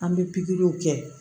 An bɛ pikiriw kɛ